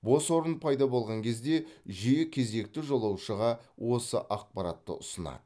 бос орын пайда болған кезде жүйе кезектегі жолаушыға осы ақпаратты ұсынады